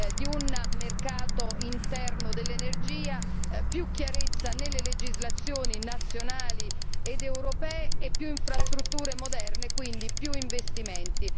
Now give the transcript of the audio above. di un mercato interno dell'energia, maggiore chiarezza nelle legislazioni nazionali ed europee, più infrastrutture moderne, e quindi più investimenti.